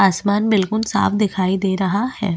आसमान बिल्कुल साफ़ दिखाई दे रहा है।